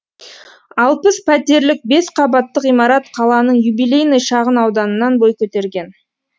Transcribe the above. алпыс пәтерлік бес қабатты ғимарат қаланың юбилейный шағын ауданынан бой көтерген